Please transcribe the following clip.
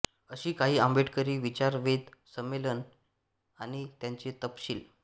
अशी काही आंबेडकरी विचारवेध संमेलने आणि त्यांचे तपशील